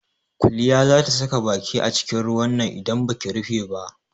Kuliya za ta saka baki acikin ruwan nan idan baki rufe ba.